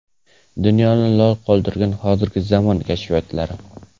Dunyoni lol qoldirgan hozirgi zamon kashfiyotlari.